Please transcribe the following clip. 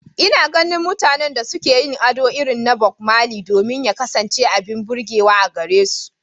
Ina ganin mutanen da suke yin ado irin na Bob Marley domin ya kasance abin burgewa a gare su.